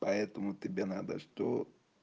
поэтому тебе надо что